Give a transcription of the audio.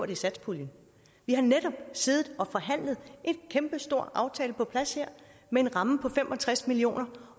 i satspuljen vi har netop siddet og forhandlet en kæmpestor aftale på plads med en ramme på fem og tres million